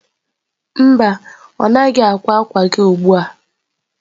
Mba, ọ naghị ákwá àkwà gị ugbu a.